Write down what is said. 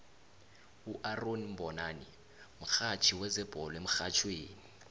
uaaron mbonani mihatjhi wezebhole emrhatjhweni